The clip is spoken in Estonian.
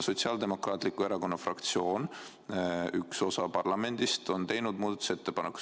Sotsiaaldemokraatliku Erakonna fraktsioon, üks osa parlamendist, tegi selle kohta muudatusettepaneku.